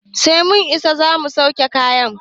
Sai mun isa zamu sauke kayan